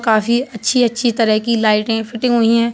काफी अच्छी-अच्छी तरह की लाइटे फिटिंग हुई हैं।